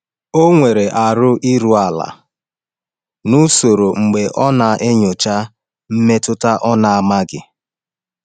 Ọ nwere ahụ iru ala n’usoro mgbe ọ na-enyocha mmetụta ọ na-amaghị.